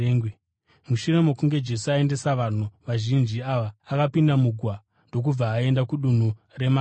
Mushure mokunge Jesu aendesa vanhu vazhinji ava, akapinda mugwa ndokubva aenda kudunhu reMagadhani.